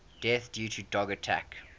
deaths due to dog attacks